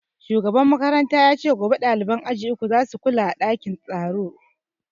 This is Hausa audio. Shugaban makaranta ya ce gobe ɗaliban aji uku za su kula a ɗakin tsaro